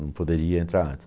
Não poderia entrar antes.